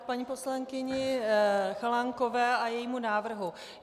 K paní poslankyni Chalánkové a jejímu návrhu.